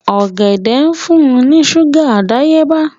Ọ̀gẹ̀dẹ̀ ń fún ní ṣúgà àdáyébá